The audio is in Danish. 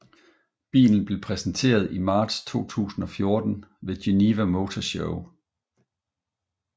Bilen blev præsenteret i marts 2014 ved Geneva Motor Show